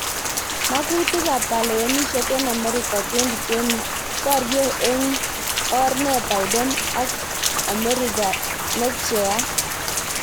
Mang'utik ab kalewenisyet eng amerika 2020: Borye eng or ne Biden ak Ameriga ne pcheyat